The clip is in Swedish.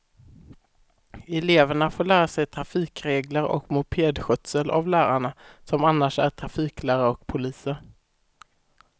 Eleverna får lära sig trafikregler och mopedskötsel av lärarna, som annars är trafiklärare och poliser.